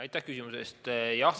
Aitäh küsimuse eest!